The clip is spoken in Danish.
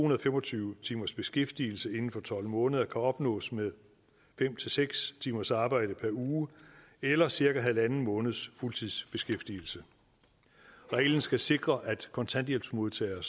og fem og tyve timers beskæftigelse inden for tolv måneder kan opnås med fem seks timers arbejde per uge eller cirka halvanden måneds fuldtidsbeskæftigelse reglen skal sikre at kontanthjælpsmodtagere